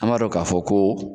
An m'a dɔn ka fɔ ko